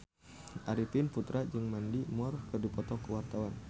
Arifin Putra jeung Mandy Moore keur dipoto ku wartawan